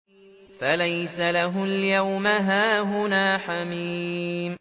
فَلَيْسَ لَهُ الْيَوْمَ هَاهُنَا حَمِيمٌ